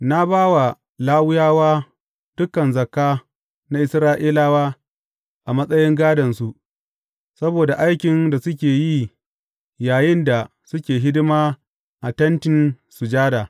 Na ba wa Lawiyawa dukan zakka na Isra’ilawa a matsayin gādonsu, saboda aikin da suke yi yayinda suke hidima a Tentin Sujada.